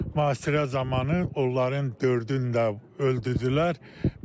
Mühasirə zamanı onların dördün də öldürdülər.